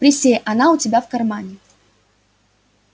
присей она у тебя в кармане